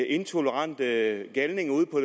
intolerante galninge ude på